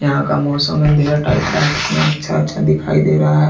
यहां का मौसम अंधेरा टाइप का है कितना अच्छा अच्छा दिखाई दे रहा है।